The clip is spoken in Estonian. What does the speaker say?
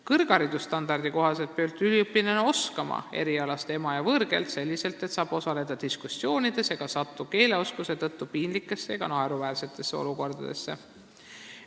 Kõrgharidusstandardi kohaselt peab üliõpilane oskama erialast ema- ja võõrkeelt selliselt, et saab osaleda diskussioonides ega satu keeleoskuse tõttu piinlikesse ega naeruväärsetesse olukordadesse.